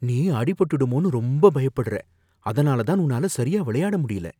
நீ அடி பட்டுடுமோனு ரொம்ப பயப்படுற, அதனால தான் உன்னால சரியா விளையாட முடியல